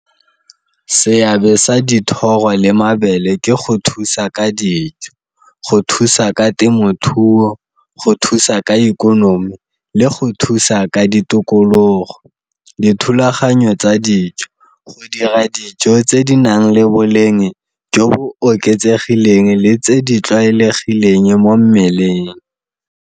Seabe sa dithoro le mabele ke go thusa ka dijo, go thusa ka temothuo, go thusa ka ikonomi le go thusa ka ditokologo. Dithulaganyo tsa dijo, go dira dijo tse di nang le boleng jo bo oketsegileng le tse di tlwaelegileng mo mmeleng.